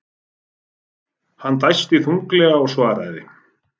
Hann dæsti þunglega og svaraði.